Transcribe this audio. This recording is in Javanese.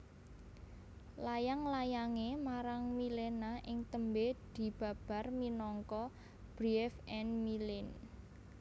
Layang layangé marang Milena ing tembé dibabar minangka Briefe an Milena